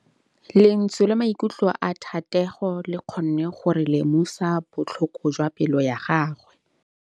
Lentswe la maikutlo a Thategô le kgonne gore re lemosa botlhoko jwa pelô ya gagwe.